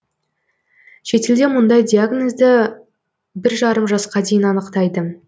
шетелде мұндай диагнозды бір жарым жасқа дейін анықтайды